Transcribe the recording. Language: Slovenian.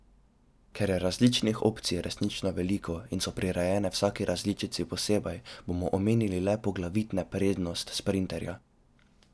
Ker je različnih opcij resnično veliko in so prirejene vsaki različici posebej, bomo omenili le poglavitne prednost sprinterja.